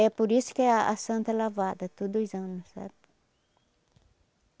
É por isso que a a santa é lavada todos os anos, sabe?